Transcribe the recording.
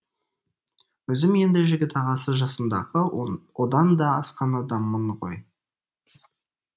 өзім енді жігіт ағасы жасындағы одан да асқан адаммын ғой